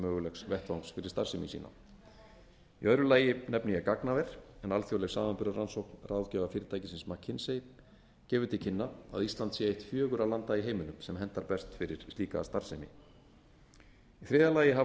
mögulegs vettvangs fyrir starfsemi sína í öðru lagi nefni ég gagnaver en alþjóðleg samanburðarrannsókn ráðgjafarfyrirtækisins mckinsey gefur til kynna að ísland sé eitt fjögurra landa í heiminum sem hentar best fyrir slíka starfsemi í þriðja lagi hafa